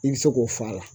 I bɛ se k'o f'a la